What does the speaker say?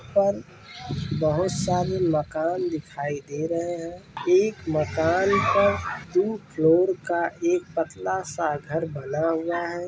और बोहोत सारी मकान दिखाई दे रहे है एक मकान पर दु फ्लोर का एक पतला सा घर बना हुआ है।